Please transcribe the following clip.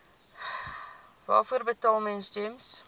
waarvoor betaal gems